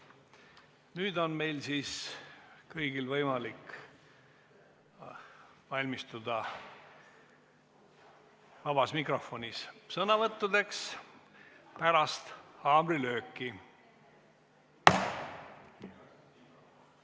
Nüüd on meil kõigil võimalik valmistuda vabas mikrofonis sõnavõtuks pärast haamrilööki.